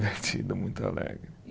muito alegre.